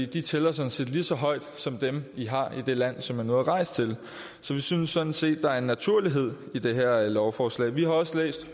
de tæller sådan set lige så højt som dem i har i det land som jeg nu er rejst til så vi synes sådan set at der er en naturlighed i det her lovforslag vi har også læst